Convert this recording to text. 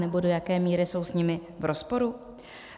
Anebo do jaké míry jsou s nimi v rozporu?